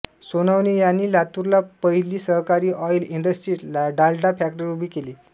सोनवणे यांनी लातूरला पहिली सहकारी ऑईल इंडस्ट्री डालडा फॅक्टरी उभी केली